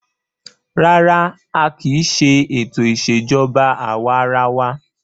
Rárá, a kì í ṣe ètò ìṣèjọba àwa arawa.